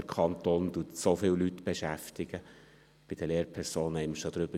Über die Lehrpersonen haben wir schon gesprochen.